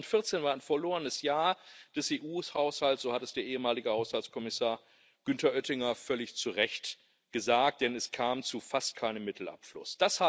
2014 war ein verlorenes Jahr des EU Haushalts so hat es der ehemalige Haushaltskommissar Günther Oettinger völlig zu Recht gesagt, denn es kam zu fast keinem Mittelabfluss.